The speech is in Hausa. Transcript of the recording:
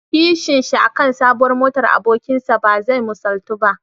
Kishinshi aka sabuwar motar abokinsa bazai misaltu ba.